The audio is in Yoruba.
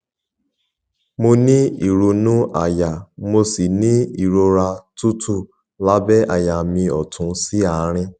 mo ní ìrunú àyà mo sì ní ìrora tútù lábẹ àyà mi ọtún sí àárín